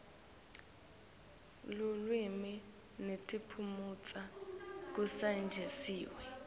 lulwimi netiphumuti kusetjentiswe